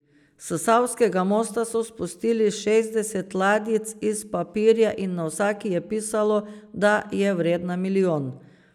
S savskega mostu so spustili šestdeset ladjic iz papirja in na vsaki je pisalo, da je vredna milijon.